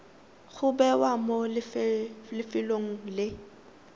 go bewa mo lefelong le